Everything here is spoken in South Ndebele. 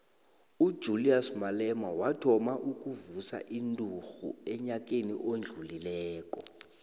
ujulias malema wathoma ukuvusa inturhu enyakeni odlulileko